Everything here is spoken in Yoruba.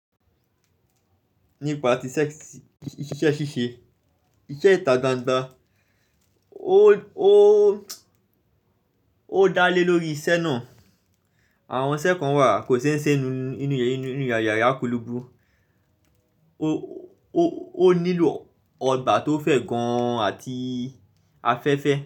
Nípa ti ṣẹ́ṣí iṣẹ́ ṣíṣe, iṣẹ́ ìta ganda ó dá lé lórí iṣẹ́ náà. Àwọn iṣẹ́ kan wà kò ṣe ń ṣe inu inú yàrá kúluúgbu, ó nílò ọgbà tó fẹ̀ gan àti afẹ́fẹ́